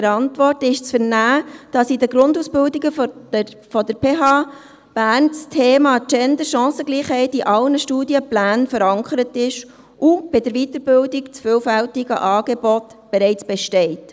Der Antwort ist zu entnehmen, dass in den Grundausbildungen der PH Bern das Thema Gender/Chancengleichheit in allen Studienplänen verankert ist und in der Weiterbildung das vielfältige Angebot bereits besteht.